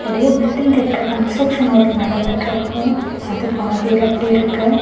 இது பில்டிங் கட்டற construction work நடந்துட்டு இருக்கு. அது பாதியில அப்டியே இருக்கு.